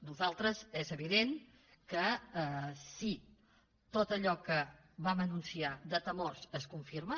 nosaltres és evident que si tot allò que vam anunciar de temors es confirma